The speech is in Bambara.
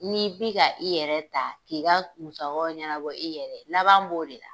N'i bi ka i yɛrɛ ta, k'i ka musakaw ɲɛnabɔ i yɛrɛ ye, laban b'o de la.